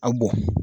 A bɔn